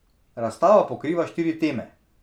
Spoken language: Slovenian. Razstava pokriva štiri teme.